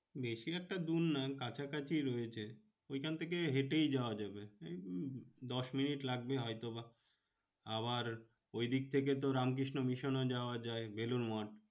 বেশি একটা দূর না কাছাকাছি রয়েছে। ঐখান থেকে হেঁটেই যাওয়া যাবে এই দশ মিনিট লাগবে হয়তো বা। আবার ওইদিক থেকে তো রামকৃষ্ণ মিশন ও যাওয়া যায়, বেলুড় মঠ।